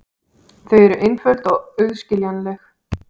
Þau eru einföld og auðskiljanleg.